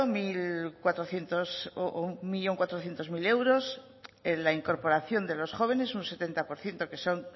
un millón cuatrocientos mil euros la incorporación de los jóvenes un setenta por ciento que son